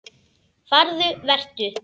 Farðu- Vertu.